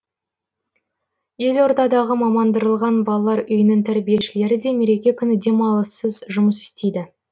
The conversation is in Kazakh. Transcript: елордадағы мамандандырылған балалар үйінің тәрбиешілері де мереке күні демалыссыз жұмыс істейді